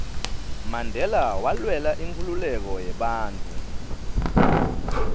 mandela walwela inkhululeko yebantfu